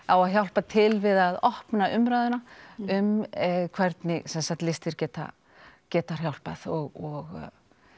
á að hjálpa til við að opna umræðuna um hvernig listir geta geta hjálpað og